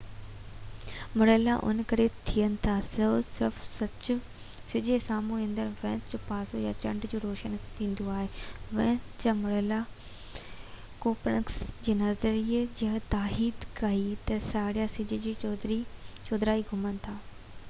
مرحلا ان ڪري ٿين ٿا تہ صرف سج جي سامهون ايندڙ وينس جو پاسو يا چنڊ جو روشن ٿيندو آهي. وينس جا مرحلن ڪوپرنيڪس جي نطريي جي تائيد ڪئي تہ سيارا سج جي چوڌاري گهمن ٿا